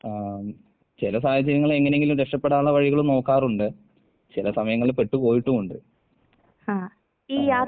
ആം ചെല സാഹചര്യങ്ങളിൽ എങ്ങനെയെങ്കിലും രക്ഷപ്പെടാനുള്ള വഴികൾ നോക്കാറുണ്ട്, ചെല സമയങ്ങളിൽ പെട്ട് പോയിട്ടുവുണ്ട്..